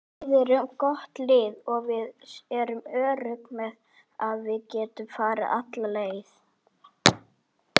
Við erum gott lið og við erum öruggir með að við getum farið alla leið.